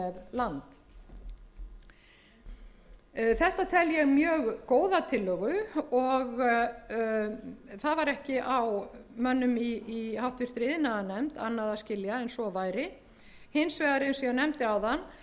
land þetta tel ég mjög góða tillögu og það var ekki á mönnum í háttvirtri iðnaðarnefnd annað að skilja en svo væri hins vegar eins